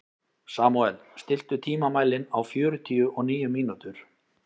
Samúel, stilltu tímamælinn á fjörutíu og níu mínútur.